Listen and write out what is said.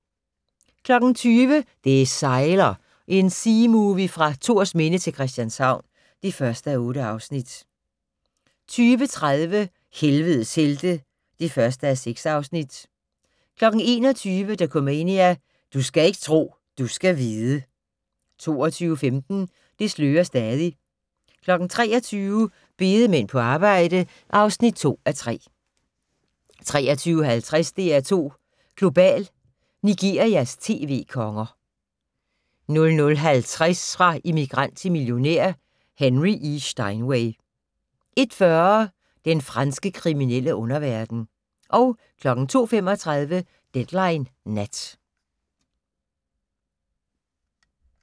20:00: Det sejler - en seamovie fra Thorsminde til Christianshavn (1:8) 20:30: Helvedes helte (1:6) 21:00: Dokumania: Du skal ikke tro, du skal vide 22:15: Det slører stadig 23:00: Bedemænd på arbejde (2:3) 23:50: DR2 Global: Nigerias tv-konger 00:50: Fra immigrant til millionær: Henry E. Steinway 01:40: Den franske kriminelle underverden 02:35: Deadline Nat